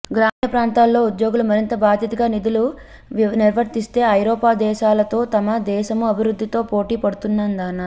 గ్రామీణ ప్రాంతాల్లో ఉద్యోగులు మరింత బాధ్యతగా విధులు నిర్వరిస్తే ఐరోపా దేశాలతో మన దేశమూ అభివృద్ధిలో పోటీ పడుతుందన్నారు